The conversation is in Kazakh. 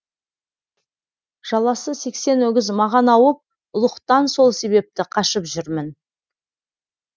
жаласы сексен өгіз маған ауып ұлықтан сол себепті қашып жүрмін